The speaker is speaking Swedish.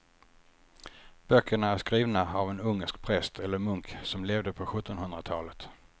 Böckerna är skrivna av en ungersk präst eller munk som levde på sjuttonhundratalet.